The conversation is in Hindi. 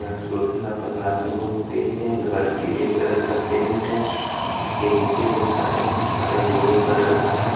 यहां सूर्य का प्रकाश बहुत तेज है घर पीले कलर का पेंट है उसके नीचे जो शटर है शटर भूरे कलर का है।